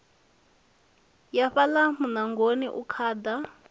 ya fhaḽa muṋangoni u khaḓa